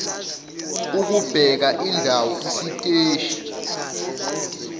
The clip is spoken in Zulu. ukubheka indawo isiteshi